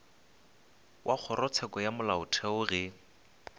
wa kgorotsheko ya molaotheo ge